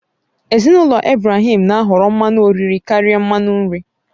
Ezinụlọ Ibrahim na ahọrọ mmanụ oriri karịa mmanụ nri